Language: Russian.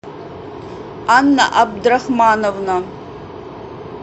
анна абдрахмановна